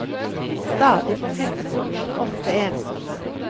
Stadig på flyttefot, ofte ensomme.